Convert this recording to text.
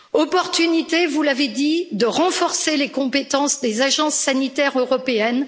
Opportunité vous l'avez dit de renforcer les compétences des agences sanitaires européennes.